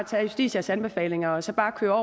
tage justitias anbefalinger og så bare køre